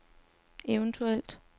eventuelt